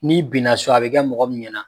N'i bin so a be kɛ mɔgɔ min ɲɛna